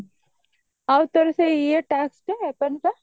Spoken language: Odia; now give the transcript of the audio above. ଆଉ ତୋର ସେଇ ଇଏଟା ଆସିଲା କଣ ତ